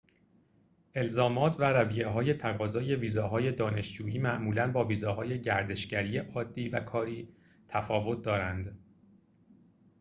الزامات و رویه‌های تقاضای ویزاهای دانشجویی معمولاً با ویزاهای گردشگری عادی و کاری تفاوت دارند